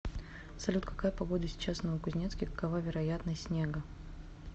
салют какая погода сейчас в новокузнецке какова вероятность снега